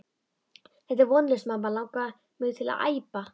Þetta er vonlaust mamma langar mig til að æpa.